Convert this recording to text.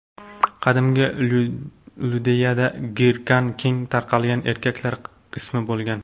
Qadimgi Iudeyada Girkan keng tarqalgan erkaklar ismi bo‘lgan.